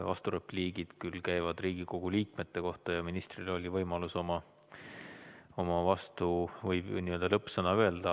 Vasturepliigivõimalus käib Riigikogu liikmete kohta ja ministril oli võimalus oma, võib ju nii öelda, lõppsõna öelda.